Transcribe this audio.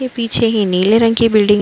के पीछे ही नीले रंग की बिल्डिंग --